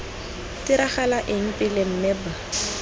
diragala eng pele mme b